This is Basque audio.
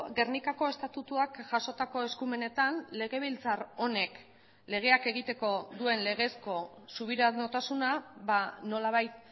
gernikako estatutuak jasotako eskumenetan legebiltzar honek legeak egiteko duen legezko subiranotasuna nolabait